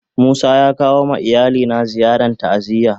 Musa ya kawo ma iyali ziyarn ta'aziyya.